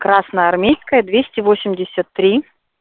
красноармейская двести восемьдесят три